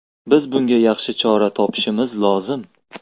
Biz bunga yaxshi chora topishimiz lozim”.